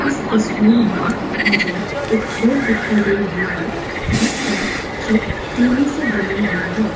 इस तस्वीर में मुझे एक घर दिखाई दे रही है जिसका छत टिने से बने हुई है।